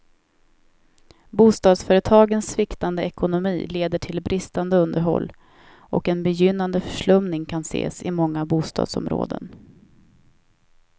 Bostadsföretagens sviktande ekonomi leder till bristande underhåll, och en begynnande förslumning kan ses i många bostadsområden.